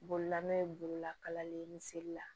Bololamɛ borola kalali ye misali la